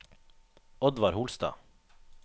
Oddvar Holstad